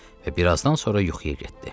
Və bir azdan sonra yuxuya getdi.